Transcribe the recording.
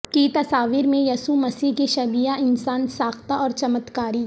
کی تصاویر میں یسوع مسیح کی شبیہ انسان ساختہ اور چمتکاری